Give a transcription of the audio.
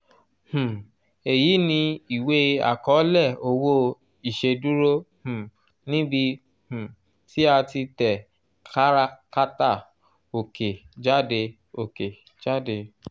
um èyí ni ìwé àkọọ́lẹ̀ owó ìṣèdúró um níbi um tí a ti tẹ káràkátà òkè jáde òkè jáde